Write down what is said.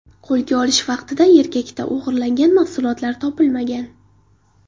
Qo‘lga olish vaqtida erkakda o‘g‘irlangan mahsulotlar topilmagan.